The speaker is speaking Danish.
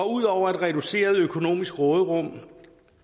ud over et reduceret økonomisk råderum